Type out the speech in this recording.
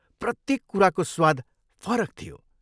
प्रत्येक कुराको स्वाद फरक थियो।